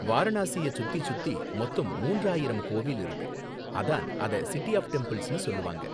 வாரணாசிய சுத்தி சுத்தி மொத்தம் மூன்றாயிரம் கோவில் இருக்கு, அதான் அத சிட்டி ஆஃப் டெம்பிள்ஸ்னு சொல்லுவாங்க